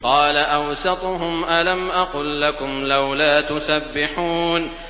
قَالَ أَوْسَطُهُمْ أَلَمْ أَقُل لَّكُمْ لَوْلَا تُسَبِّحُونَ